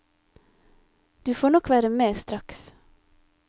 Du får nok være med straks.